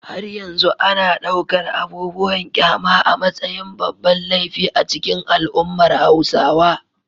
Har yanzu ana ɗaukar abubuwan kyama a matsayin babban laifi a cikin al’ummar Hausawa.